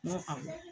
N y'o faamu